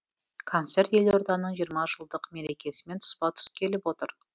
концерт елорданың жиырма жылдық мерекесімен тұспа тұс келіп отыр